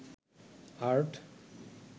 art